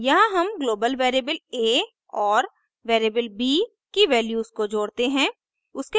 यहाँ हम global variable a और वेरिएबल b की वैल्यूज को जोड़ते हैं